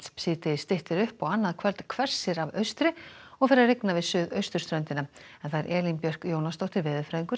síðdegis styttir upp og annað kvöld hvessir af austri og fer að rigna við suðausturströndina Elín Björk Jónasdóttir veðurfræðingur